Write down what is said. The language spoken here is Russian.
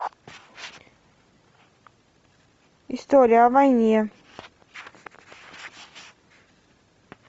история о войне